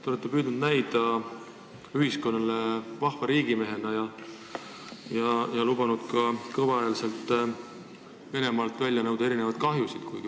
Te olete püüdnud näida vahva riigimehena ja lubanud kõval häälel Venemaalt välja nõuda erinevate kahjude hüvitamist.